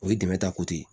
O ye dɛmɛ ta ko ye